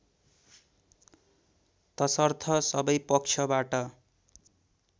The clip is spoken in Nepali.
तसर्थ सबै पक्षबाट